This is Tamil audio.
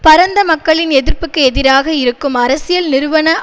பரந்த மக்களின் எதிர்ப்புக்கு எதிராக இருக்கும் அரசியல் நிறுவன